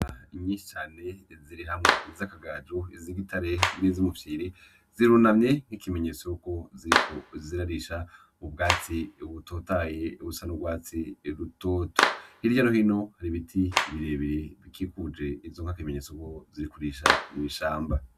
Inka nyinshi cane ziri hamwe iz'akagaju, iz'igitare n'izumufyiri, zirunamye nk'ikimenyetso yuko ziriko zirarisha ubwatsi butotaye busa n'urwatsi rutoto, hirya no hino hari ibiti birebe bikikuje izo nka nk'ikimenyetso ko zirikurisha mw'ishamba.